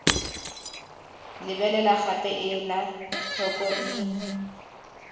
lebelela gape ela tlhoko ii